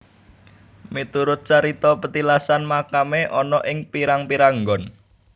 Miturut carita petilasan makamé ana ing pirang pirang nggon